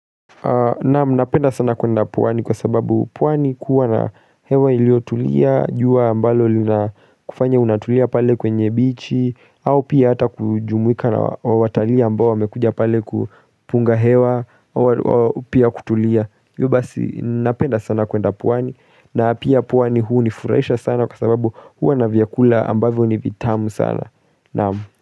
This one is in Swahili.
Naamu, napenda sana kwenda pwani kwa sababu pwani kuwa na hewa ilio tulia, juwa ambalo lina kufanya unatulia pale kwenye bichi au pia hata kujumuwika na watalia ambao wamekuja pale kupunga hewa, pia kutulia yu basi, napenda sana kwenda pwani na pia pwani huu nifuraisha sana kwa sababu huu anavyakula ambavyo ni vitamu sana naamu.